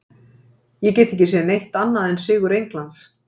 Ég get ekki séð neitt annað en sigur Englands.